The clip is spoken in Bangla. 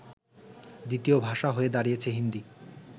দ্বিতীয় ভাষা হয়ে দাড়িয়েছে হিন্দী